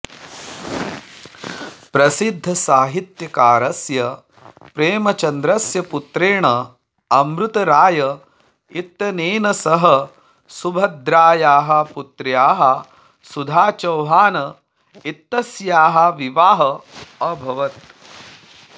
प्रसिद्धसाहित्यकारस्य प्रेमचन्द्रस्य पुत्रेण अमृतराय इत्यनेन सह सुभद्रायाः पुत्र्याः सुधा चौहान इत्यस्याः विवाहः अभवत्